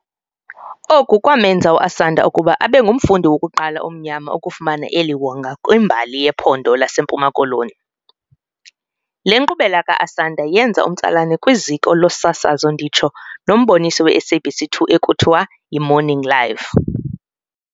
Oku kwamenza uAsanda ukuba abengumfundi wokuqala omnyama ukufumana eli wonga kwimbali yePhondo laseMpuma-Koloni. Le nkqubela kaAsanda yenza umtsalane kwiziko losasazo nditsho nomboniso weSABC 2 ekuthiwa y"imorning live".